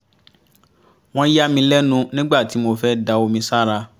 wọ́n yà mí lẹ́nu nígbà tí mo fẹ́ da omi sára